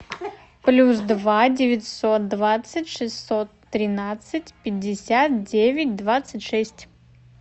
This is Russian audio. плюс два девятьсот двадцать шестьсот тринадцать пятьдесят девять двадцать шесть